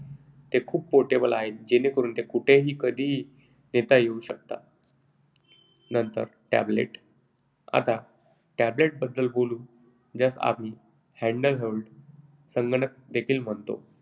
ते खूप portable आहेत जेणेकरून ते कोठेही आणि कधीही नेता येऊ शकतात. नंतर tablet. आता आपण tablet बद्दल बोलू ज्यास आम्ही handheld संगणक देखील म्हणतो.